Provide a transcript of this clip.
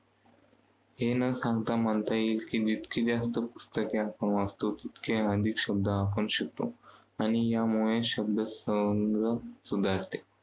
हे न सांगता, म्हणता येईल की जितकी जास्त पुस्तके आपण वाचतो, तितके आपण अधिक शब्द आपण शिकतो. आणि यामुळे शब्दसंग्रह सुधारते.